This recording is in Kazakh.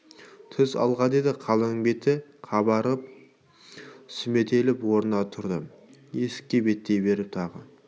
түс алға деді қалың беті қабарып сүметіліп орнынан тұрды есікке беттей беріп тағы